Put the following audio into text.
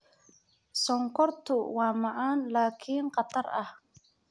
Sonkortu waa macaan laakiin khatar ah.